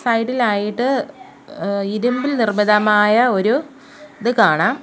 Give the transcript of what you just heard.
സൈഡിലായിട്ട് ഏഹ് ഇരുമ്പിൽ നിർമ്മിതമായ ഒരു ഇത് കാണാം.